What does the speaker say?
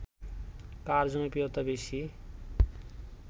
কার জনপ্রিয়তা বেশি ?